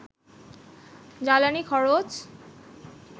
জ্বালানি খরচ